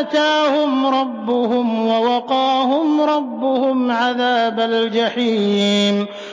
آتَاهُمْ رَبُّهُمْ وَوَقَاهُمْ رَبُّهُمْ عَذَابَ الْجَحِيمِ